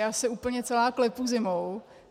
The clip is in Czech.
Já se úplně celá klepu zimou.